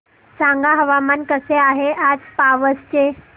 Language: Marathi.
सांगा हवामान कसे आहे आज पावस चे